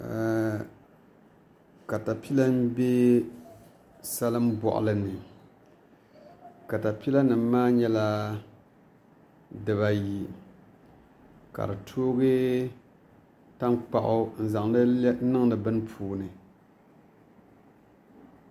Katapila n bɛ salin boɣali ni katapila nim maa nyɛla dibaayi ka di toogi tankpaɣu n zaŋdi niŋdi bini puuni